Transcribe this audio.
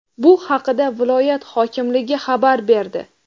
Bu haqida viloyat hokimligi xabar berdi.